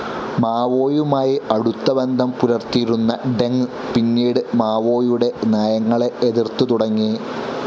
മാവോയുമായി അടുത്ത ബന്ധം പുലർത്തിയിരുന്ന ഡെങ് പിന്നീട് മാവോയുടെ നയങ്ങളെ എതിർത്തുതുടങ്ങി.